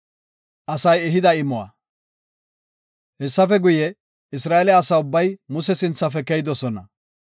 Hessafe guye, Isra7eele asa ubbay Muse sinthafe keyidosona.